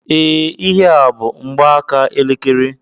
Ee, ihe a bú mgbaaka elekere